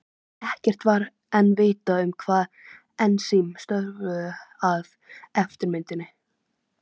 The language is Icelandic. Ekkert var enn vitað um hvaða ensím störfuðu að eftirmynduninni.